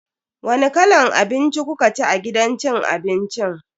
Wani kalan abinci kukaci a gidan cin abincin?